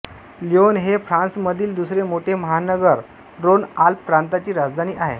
Lyon हे फ्रान्समधील दुसरे मोठे महानगर रोनआल्प प्रांताची राजधानी आहे